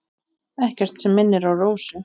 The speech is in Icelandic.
Ekkert sem minnir á Rósu.